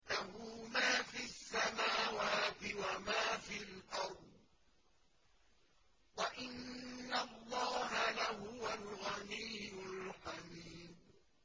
لَّهُ مَا فِي السَّمَاوَاتِ وَمَا فِي الْأَرْضِ ۗ وَإِنَّ اللَّهَ لَهُوَ الْغَنِيُّ الْحَمِيدُ